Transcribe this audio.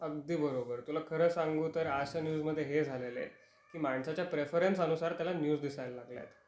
अगदी बरोबर तुला खरं सांगू तर अश्या न्यूज मध्ये हे झालेल आहे कि माणसाच्या प्रेफरेन्सनुसार त्याला न्यु दिसायला लागल्या आहेत.